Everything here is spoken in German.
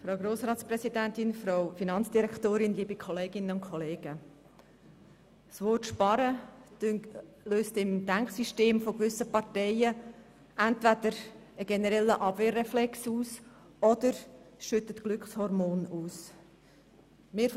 Das Wort Sparen löst im Denksystem gewisser Parteien entweder einen generellen Abwehrreflex aus, oder es werden Glückshormone ausgeschüttet.